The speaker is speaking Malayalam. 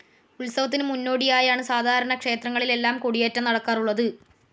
ഉത്സവത്തിന് മുന്നോടിയായാണ് സാധാരണ ക്ഷേത്രങ്ങളിലെല്ലാം കൊടിയേറ്റം നടക്കാറുള്ളത്.